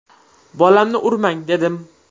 Bolamni urmang, dedim.